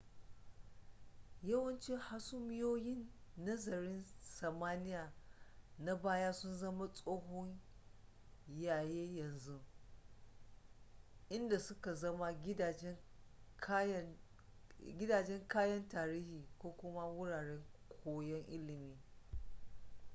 yawanci hasumiyoyin nazarin samaniya na baya sun zama tsohon yayi yanzu inda suka zama gidajen kayan tarihi ko kuma wuraren koyon ilimi